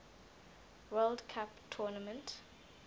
world cup tournament